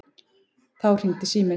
Þá hringdi síminn.